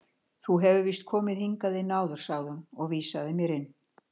Þú hefur víst komið hingað inn áður sagði hún og vísaði mér inn.